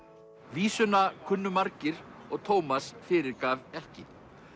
vísuna kunnu margir og Tómas fyrirgaf ekki